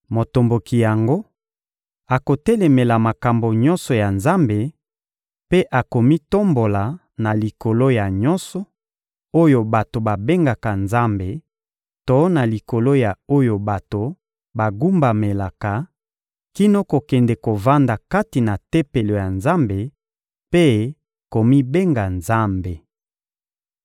Motomboki yango akotelemela makambo nyonso ya Nzambe mpe akomitombola na likolo ya nyonso oyo bato babengaka Nzambe to na likolo ya oyo bato bagumbamelaka, kino kokende kovanda kati na Tempelo ya Nzambe mpe komibenga Nzambe.